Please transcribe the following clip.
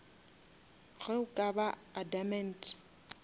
ge o ka ba adamant